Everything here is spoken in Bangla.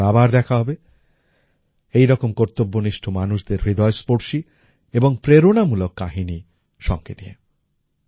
পরেরবার আবার দেখা হবে এইরকম কর্তব্যনিষ্ঠ মানুষদের হৃদয়স্পর্শী এবং প্রেরণামূলক কাহিনী সঙ্গে নিয়ে